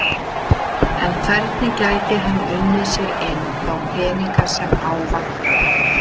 En hvernig gæti hann unnið sér inn þá peninga sem á vantaði?